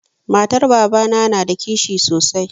Matar babana na da kishi sosai.